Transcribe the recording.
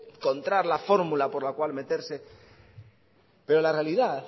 encontrar la fórmula por la cual meterse pero la realidad